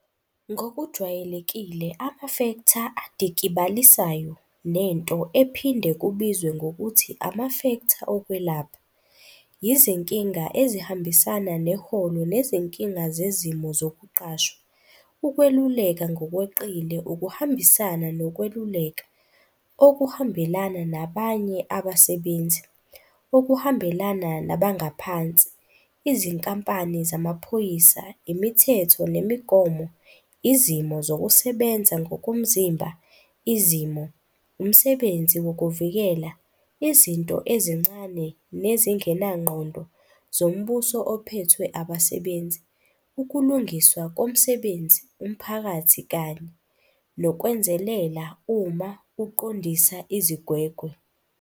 Ngokujwayelekile amafektha adikibalisayo, nento ephinde kubizwe ngokuthi amafektha okwelapha, yizinkinga ezihambisana neholo nezinkinga zezimo zokuqashwa, ukweluleka ngokweqile, ukuhambisana nokweluleka, okuhambelana nabanye abasebenzi, okuhambelana nabangaphansi, izinkampani zamaphoyisa, imithetho nemigomo, izimo zokusebenza ngokomzimba, izimo, umsebenzi wokuvikela, izinto ezincane nezingenangqondo zombuso ophethwe abasebenzi, ukulungiswa komsebenzi umphakathi kanye, nokwenzelela uma uqondisa izigwegwe.